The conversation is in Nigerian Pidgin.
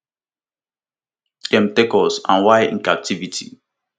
dem take us and while in captivity